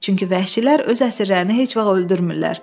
Çünki vəhşilər öz əsirlərini heç vaxt öldürmürlər.